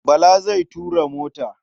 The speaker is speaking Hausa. Bala zai tura mota.